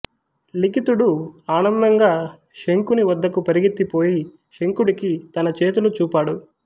లిఖితుడు ఆనందంగా శంఖుని వద్దకు పరిగెత్తి పోయి శంఖుడికి తన చేతులు చూపాడు